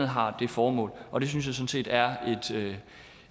har det formål og det synes jeg sådan set er